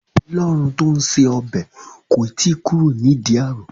Ọlọ́run tó ń ṣe ọbẹ̀ kò tí kúrò ní ìdí ààrò.